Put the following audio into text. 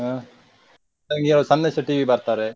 ಹ್ಮ್ಮ್ Sandesh T ಬರ್ತಾರೆ.